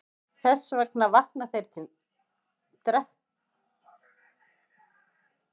Þess vegna vakna þeir til að drekka á sunnudagsmorgnum og djamma svo allan daginn.